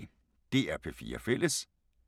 DR P4 Fælles